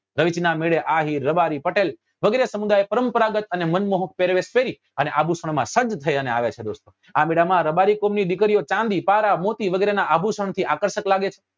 રવેચી ના મેળે આહીર રબારી પટેલ વગેરે સમુદાય પરંપરાગત અને મનમોહક પેરવેશ પેરી અને આભુષણ માં સજ્જ થઇ અને આવે છે દોસ્તો આ મેલા માં રબારી કુળ ની દીકરીઓ ચાંદી પારા મોતી વગેરે નાં આભુષણ થી આકર્ષક લાગે છે